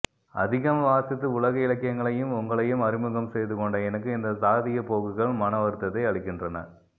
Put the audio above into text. அதிகம் வாசித்து உலக இலக்கியங்களையும் உங்களையும் அறிமுகம் செய்து கொண்ட எனக்கு இந்த சாதீய போக்குகள் மன வருத்தத்தை அளிக்கின்றன